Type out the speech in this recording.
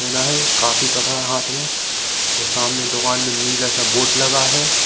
Coffee पकड़ा हाथ में और सामने दुकान में नीला सा बोर्ड लगा है।